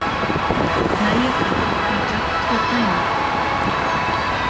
Nægir þar að taka tvö dæmi